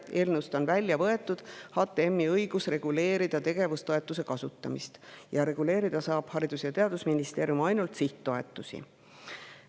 Eelnõust on välja võetud HTM-i õigus reguleerida tegevustoetuse kasutamist ning Haridus‑ ja Teadusministeerium saab nüüd reguleerida ainult sihttoetusi.